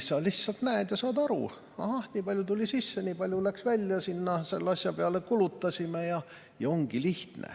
Sa lihtsalt näed ja saad aru, ahah, nii palju tuli sisse, nii palju läks välja, selle asja peale kulutasime, ja ongi lihtne.